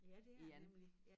Ja det er det nemlig ja